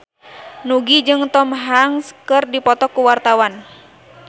Nugie jeung Tom Hanks keur dipoto ku wartawan